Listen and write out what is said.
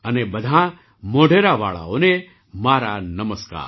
અને બધાં મોઢેરાવાળાઓને મારા નમસ્કાર